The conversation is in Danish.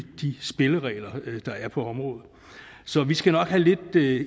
de spilleregler der er på området så vi skal nok have lidt